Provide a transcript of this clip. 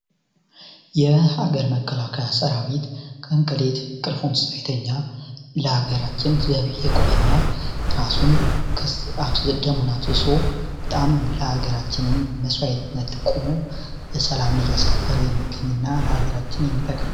የሀገር መከላከያ ሰራዊት ቀንከሌት እንቅልፉን ሳይተኛ ለአገራችን ዘብ የቆመና ራሱን ደሙን አፍስሶ ለሃገራችን መስዋዕትነት በመክፈል ሰላም እያስከበረ የሚገኝና ለሃገራችን የቆመ ሃይል ነው።